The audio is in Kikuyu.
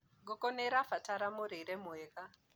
ngũkũ nĩirabatara mũrĩre mwega